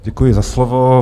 Děkuji za slovo.